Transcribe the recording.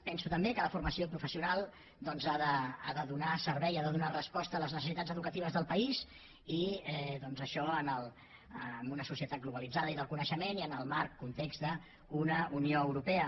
penso també que la formació professional ha de donar servei ha de donar resposta a les necessitats educatives del país i doncs això en una societat globalitzada i del coneixement i en el marc context d’una unió europea